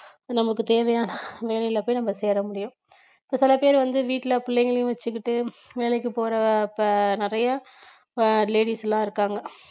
நமக்கு தேவையான வேலையில போய் நம்ம சேர முடியும் இப்ப பல பேர் வந்து வீட்ல புள்ளைங்களையும் வச்சுக்கிட்டு வேலைக்கு போற இப்ப நிறைய அஹ் ladies எல்லாம் இருக்காங்க